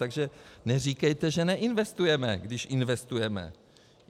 Takže neříkejte, že neinvestujeme, když investujeme.